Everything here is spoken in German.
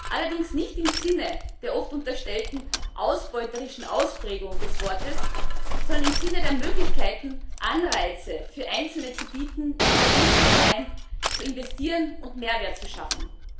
Allerdings nicht im Sinne der oft unterstellten ausbeuterischen Ausprägung des Wortes, sondern im Sinne der Möglichkeiten, Anreize für Einzelne zu bieten, innovativ zu sein, zu investieren und Mehrwert zu schaffen.